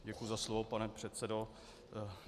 Děkuji za slovo pane předsedo.